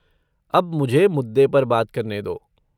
अब मुझे मुद्दे पर बात करने दो।